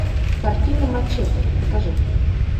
картина мачете покажи